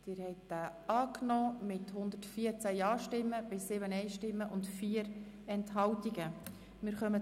Sie haben Artikel 10 Absatz 3 mit 114 Ja- gegen 7 Nein-Stimmen bei 4 Enthaltungen zugestimmt.